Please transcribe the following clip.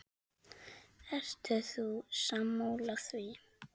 Ert þú sammála því?